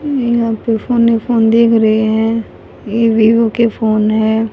यहां पे फोन ही फोन दिख रहे हैं ये वीवो के फोन है।